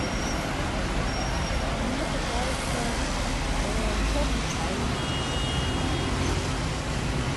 мне пожалуйста черный чай